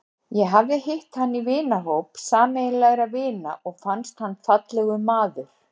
Ég hafði hitt hann í hópi sameiginlegra vina og fannst hann fallegur maður.